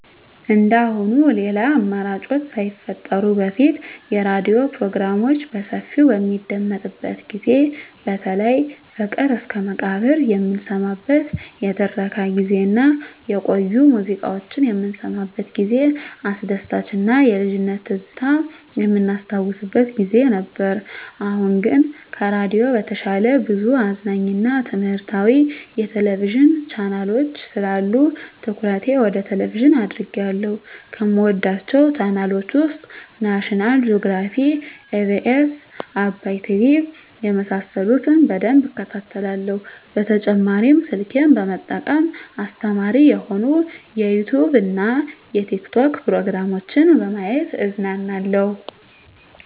እንደአሁኑ ሌላ አማራጮች ሳይፈጠሩ በፊት የሬዲዮ ፕሮግራሞች በሰፊው በሚደመጥበት ጊዜ በተለይ ፍቅር እስከመቃብር የምንሰማበት የትረካ ጊዜ እና የቆዩ ሙዚቃዎች የምንሰማበት ጊዜ አስደሳች እና የልጅነት ትዝታ የምናስታውስበት ጊዜ ነበር። አሁን ግን ከሬዲዮ በተሻለ ብዙ አዝናኝ እና ትምህረታዊ የቴሌቪዥን ቻናሎች ስላሉ ትኩረቴ ወደ ቴሌቭዥን አድርጌአለሁ። ከምወዳቸው ቻናሎች ውስጥ ናሽናል ጆግራፊ, ኢቢኤስ, አባይ ቲቪ የመሳሰሉት በደንብ እከታተላለሁ። በተጨማሪ ስልኬን በመጠቀም አስተማሪ የሆኑ የዩቲዉብ እና የቲክቶክ ፕሮግራሞችን በማየት እዝናናለሁ።